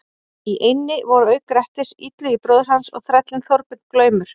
Í eynni voru auk Grettis, Illugi bróðir hans og þrællinn Þorbjörn glaumur.